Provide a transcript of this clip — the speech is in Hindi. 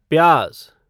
प्याज